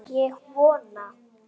Og vona.